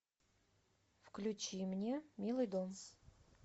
включи мне милый дом